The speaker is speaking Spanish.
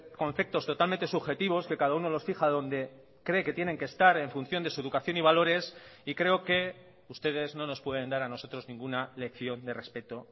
conceptos totalmente subjetivos que cada uno los fija donde cree que tienen que estar en función de su educación y valores y creo que ustedes no nos pueden dar a nosotros ninguna lección de respeto